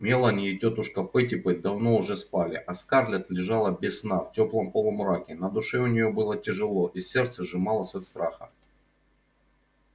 мелани и тётушка питтипэт давно уже спали а скарлетт лежала без сна в теплом полумраке на душе у нее было тяжело и сердце сжималось от страха